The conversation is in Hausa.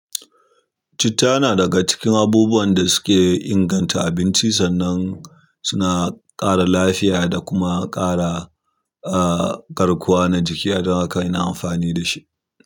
Citta na daga cikin abubuwan da suke inganta abinci sannan suna ƙara lafiya da kuma ƙara, ah, garkuwa na jiki adan haka ina amfani da shi.